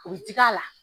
U bɛ digi a la